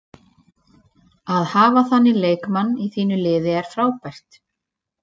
Að hafa þannig leikmann í þínu liði er frábært.